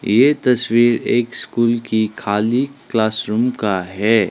ये तस्वीर एक स्कूल की खाली क्लासरूम का है।